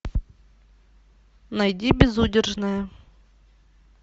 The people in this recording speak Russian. найди безудержная